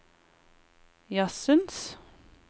jazzens